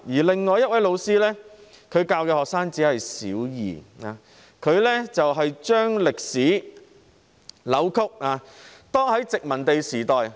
另一位老師教授小學二年級學生，扭曲殖民地時代的歷史。